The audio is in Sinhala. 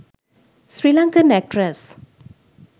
sirlankan actress